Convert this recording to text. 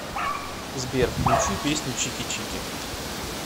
сбер включи песню чики чики